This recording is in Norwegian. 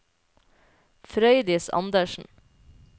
Frøydis Andersen